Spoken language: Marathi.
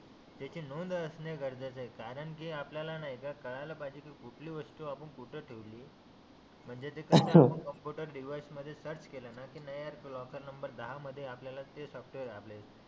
त्याची नोंद असणे गरजेच आहे करांकि आपल्याला नाहीका कडायला पाहिजे की कुठली वस्तु आपण कुठे ठेवली म्हणजे कम्प्युटर डिवाइस मध्ये सर्च केल न लॉकर नंबर दहा मध्ये आपल्याला ते सापडते